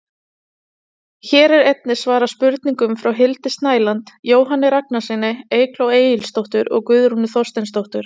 Hér er einnig svarað spurningum frá Hildi Snæland, Jóhanni Ragnarssyni, Eygló Egilsdóttur og Guðrúnu Þorsteinsdóttur.